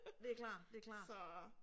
Det er klar, det er klart